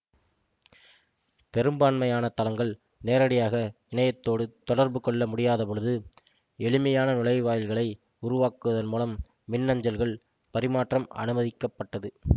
பெரும்பான்மையான தளங்கள் நேரடியாக இணையத்தோடு தொடர்பு கொள்ள முடியாத பொழுது எளிமையான நுழைவாயில்களை உருவாக்குவதன் மூலம் மின்னஞ்சல்கள் பரிமாற்றம் அனுமதிக்கப்பட்டது